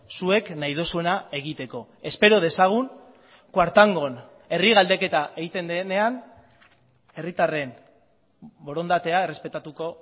zuek nahi duzuena egiteko espero dezagun kuartangon herri galdeketa egiten denean herritarren borondatea errespetatuko